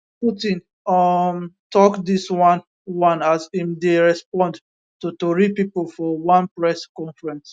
putin um tok dis one one as im dey respond to tori pipo for one press conference